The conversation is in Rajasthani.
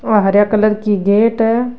और हरया कलर की गेट है।